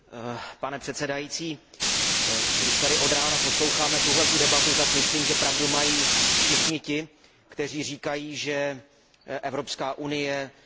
Když tady od rána posloucháme tuto debatu, tak myslím, že pravdu mají všichni ti, kteří říkají, že Evropská unie je na vážné křižovatce.